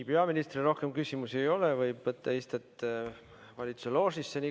Peaministrile rohkem küsimusi ei ole, ta võib võtta istet valitsuse loožis.